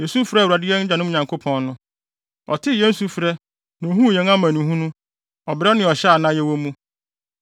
yesu frɛɛ Awurade, yɛn agyanom Nyankopɔn no. Ɔtee yɛn sufrɛ na ohuu yɛn amanehunu, ɔbrɛ ne ɔhyɛ a na yɛwɔ mu.